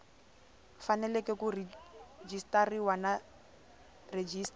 fanele ku rejistariwa na registrar